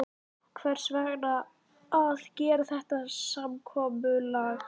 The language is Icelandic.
Hvers vegna að gera þetta samkomulag?